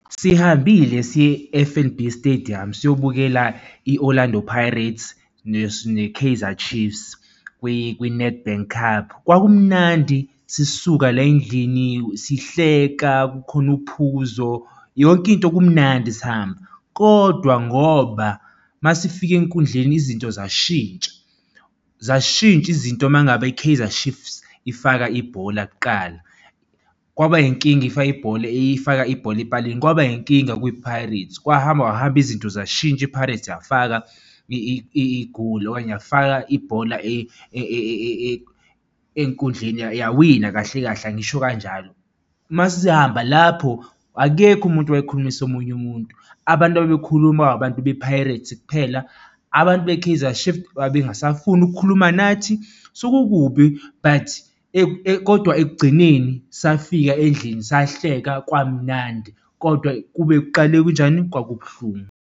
Sihambile siye-F_N_B stadium, siyobukela i-Orlando Pirates ne-Kaizer Chiefs kwi-Nedbank Cup. Kwakumnandi sisuka la endlini, sihleka kukhona uphuzo yonke into kumnandi sihamba, kodwa ngoba masifika enkundleni izinto zashintsha, zashintsha izinto mangabe i-Kaizer Chiefs ifaka ibhola kuqala, kwaba inkinga ifake ibhola efaka ibhola epalini, kwaba inkinga kwi-Pirates, kwahamba kwahamba izinto zashintsha i-Pirates yafaka igoli okanye yafaka ibhola enkundleni, yawina kahle kahle angisho kanjalo. Masesihamba lapho akekho umuntu owayekhulumisa omunye umuntu. Abantu ababekhuluma abantu be-Pirates kuphela. Abantu be-Kaizer Chief babengasafuni ukukhuluma nathi sekukubi but kodwa ekugcineni safika endlini, sahleka kwamunandi kodwa kube kuqale kunjani? Kwakubuhlungu.